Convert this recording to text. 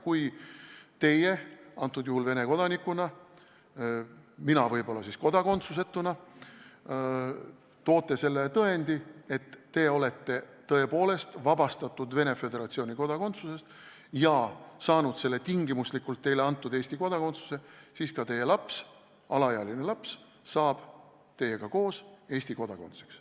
Kui teie – antud juhul Vene kodanikuna, mina võib-olla kodakondsusetuna – toote tõendi selle kohta, et olete Venemaa Föderatsiooni kodakondsusest tõepoolest vabastatud, ja saanud tingimuslikult teile antud Eesti kodakondsuse, siis ka teie laps, alaealine laps, saab teiega koos Eesti kodanikuks.